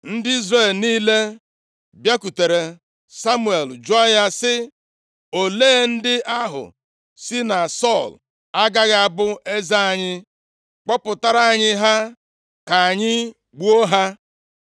Ndị Izrel niile bịakwutere Samuel jụọ ya sị, “Olee ndị ahụ sị na Sọl agaghị abụ eze anyị? Kpọpụtara anyị ha ka anyị gbuo ha!”